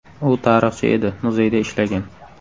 U tarixchi edi, muzeyda ishlagan.